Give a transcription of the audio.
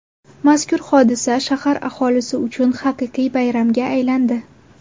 Mazkur hodisa shahar aholisi uchun haqiqiy bayramga aylandi.